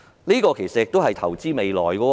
這其實也是投資未來。